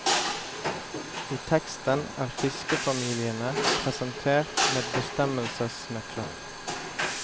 I teksten er fiskefamiliene presentert med bestemmelsesnøkler.